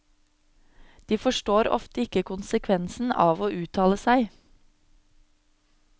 De forstår ofte ikke konsekvensen av å uttale seg.